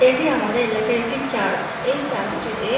এটি আমাদের এলাকার একটি চার্চ এই চার্চ -টিতে--